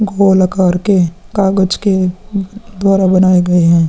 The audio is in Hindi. गोल अकार के कागज के द्वारा बनाए गए हैं।